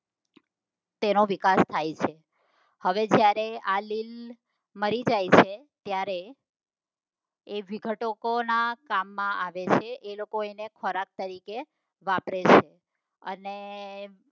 તેનો વિકાસ થાય છે હવે જ્યારે હવે આ લીલ મરી જાય છે ત્યારે એ વિઘટકો ના કામ માં આવે છે એ લોકો એને ખોરાક તરીકે વાપરે છે અને